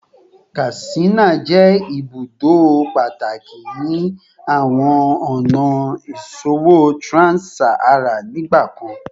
Katsina jẹ ibudo pataki ni awọn ọna iṣowo trans-Saharan nigbakan